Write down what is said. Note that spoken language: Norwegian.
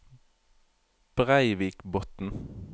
Breivikbotn